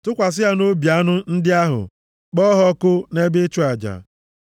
tụkwasị ha nʼobi anụ ndị ahụ, kpọọ ha ọkụ nʼebe ịchụ aja.